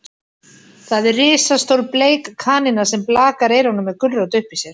Það er risastór bleik kanína sem blakar eyrunum með gulrót uppí sér.